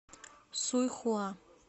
суйхуа